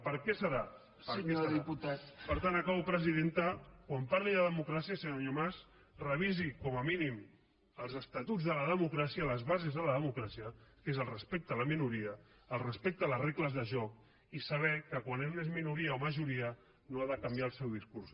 per què deu ser per tant acabo presidenta quan parli de democràcia senyor mas revisi com a mínim els estatuts de la democràcia les bases de la democràcia que és el respecte a la minoria el respecte a les regles de joc i saber que quan un és minoria o majoria no ha de canviar el seu discurs